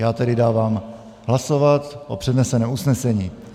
Já tedy dávám hlasovat o předneseném usnesení.